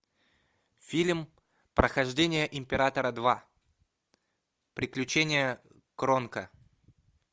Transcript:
фильм прохождения императора два приключения кронка